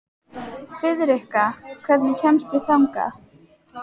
Friðrikka, hvernig kemst ég þangað?